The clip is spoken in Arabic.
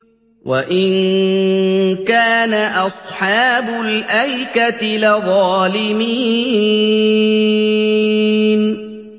وَإِن كَانَ أَصْحَابُ الْأَيْكَةِ لَظَالِمِينَ